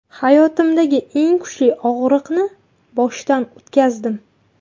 Hayotimdagi eng kuchli og‘riqni boshdan o‘tkazdim.